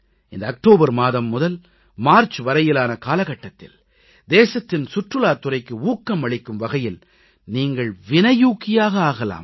இந்த அக்டோபர் மாதம் முதல் மார்ச் வரையிலான காலகட்டத்தில் தேசத்தின் சுற்றுலாத் துறைக்கு ஊக்கம் அளிக்கும் வகையில் நீங்கள் வினையூக்கியாக ஆகலாம்